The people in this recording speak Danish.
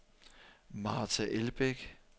Marta Elbæk